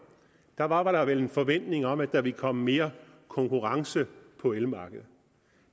var var der vel en forventning om at der ville komme mere konkurrence på elmarkedet